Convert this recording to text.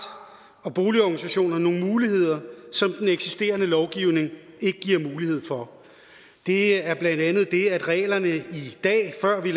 og boligorganisationer nogle muligheder som den eksisterende lovgivning ikke giver mulighed for det er blandt andet det at reglerne i dag før vi